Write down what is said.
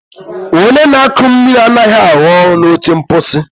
Onye na-akụ mmiri anaghị arụ ọrụ na oche mposi.